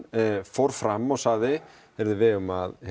fór fram og sagði við eigum að